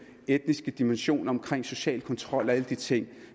etniske dimension om social kontrol og alle de ting